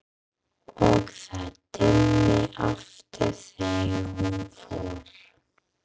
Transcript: og það dimmdi aftur þegar hún fór.